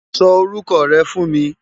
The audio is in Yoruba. Sò órúkò rè fú n mi